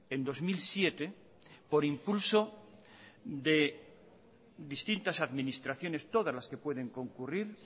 en dos mil siete por impulso de distintas administraciones todas las que pueden concurrir